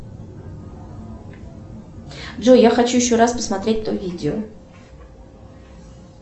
джой я хочу еще раз посмотреть то видео